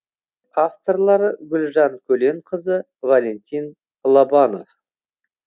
авторлары гүлжан көленқызы валентин лобанов